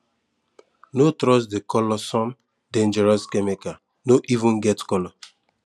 no trust the coloursome dangerous chemical no even get colour